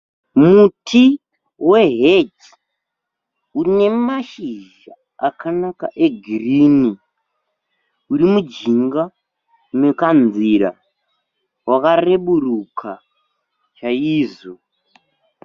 Muti weheji une mashizha akanaka egirini uri mujinga mekanzira wakareburuka chaizvo.